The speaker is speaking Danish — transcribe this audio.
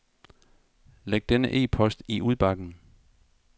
Læg denne e-post i udbakken.